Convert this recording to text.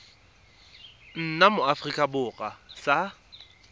nna mo aforika borwa sa